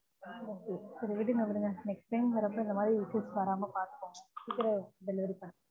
சரி விடுங்க விடுங்க next time இந்த மாதிரி issues வராம பார்த்துக்கோங்க சீக்கிரம் delievery பன்ணுங்க